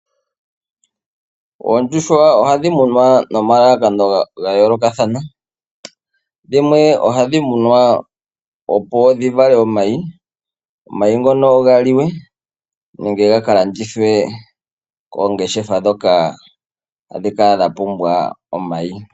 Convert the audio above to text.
Oondjuhwa ohadhi munwa no malalakano ga yoolokathana. Dhimwe ohadhi munwa opo dhivale omayi ,omayi ngono galiwe nenge ga kalandithwe koongeshefa ndhono dhapumbwa omayi.